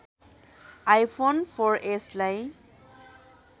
iPhone four एसलाई